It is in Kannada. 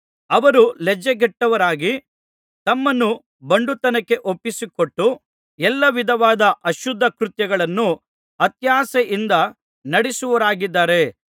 ಅವರು ಲಜ್ಜೆಗೆಟ್ಟವರಾಗಿ ತಮ್ಮನ್ನು ಬಂಡುತನಕ್ಕೆ ಒಪ್ಪಿಸಿಕೊಟ್ಟು ಎಲ್ಲಾ ವಿಧವಾದ ಅಶುದ್ಧ ಕೃತ್ಯಗಳನ್ನು ಅತ್ಯಾಶೆಯಿಂದ ನಡೆಸುವವರಾಗಿದ್ದಾರೆ